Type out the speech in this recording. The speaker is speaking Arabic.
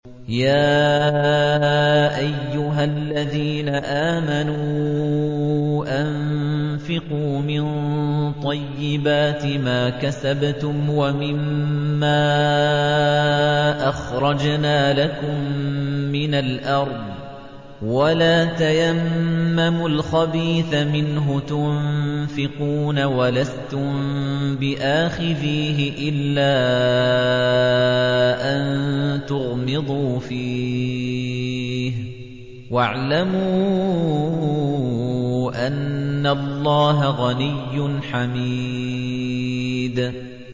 يَا أَيُّهَا الَّذِينَ آمَنُوا أَنفِقُوا مِن طَيِّبَاتِ مَا كَسَبْتُمْ وَمِمَّا أَخْرَجْنَا لَكُم مِّنَ الْأَرْضِ ۖ وَلَا تَيَمَّمُوا الْخَبِيثَ مِنْهُ تُنفِقُونَ وَلَسْتُم بِآخِذِيهِ إِلَّا أَن تُغْمِضُوا فِيهِ ۚ وَاعْلَمُوا أَنَّ اللَّهَ غَنِيٌّ حَمِيدٌ